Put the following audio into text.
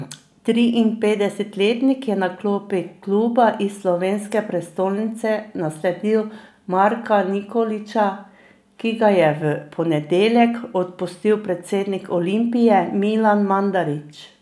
Triinpetdesetletnik je na klopi kluba iz slovenske prestolnice nasledil Marka Nikolića, ki ga je v ponedeljek odpustil predsednik Olimpije Milan Mandarić.